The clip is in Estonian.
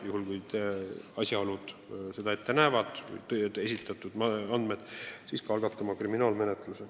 Juhul kui esitatud andmed või asjaolud seda ette näevad, siis tuleb algatada kriminaalmenetlus.